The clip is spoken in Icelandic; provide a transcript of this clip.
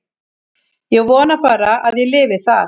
Ég vona bara að ég lifi það.